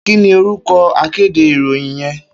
Kini órúkò àkédé iróyìn yèn?